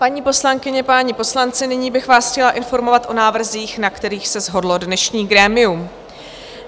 Paní poslankyně, páni poslanci, nyní bych vás chtěla informovat o návrzích, na kterých se shodlo dnešní grémium.